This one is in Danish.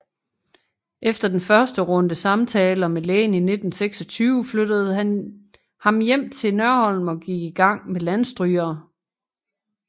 Efter den første runde samtaler med lægen i 1926 flyttede han hjem til Nørholm og gik i gang med Landstrygere